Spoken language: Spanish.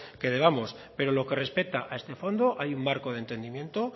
que debamos pero lo que respeta a este fondo hay un marco de entendimiento